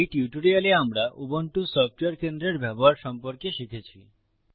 এই টিউটোরিয়ালে আমরা উবুন্টু সফটওয়্যার কেন্দ্রের ব্যবহার সম্পর্কে শিখেছি